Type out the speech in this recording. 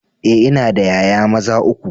Eh ina da 'ya'ya maza uku.